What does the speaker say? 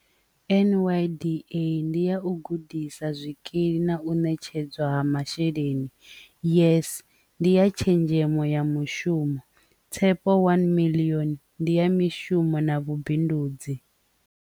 N_Y_D_A ndi ya u gudisa zwikili na u netshedzwa ha masheleni years ndi ya tshenzhemo ya mushumo Tshepo one million ndi ya mishumo na vhubindudzi.